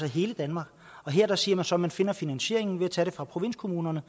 i hele danmark her siger man så at man finder finansieringen ved at tage det fra provinskommunerne